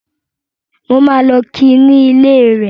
Mo máa lọ ki ní ilé rẹ̀